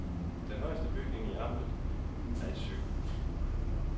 Den højeste bygning i amtet er et sygehus.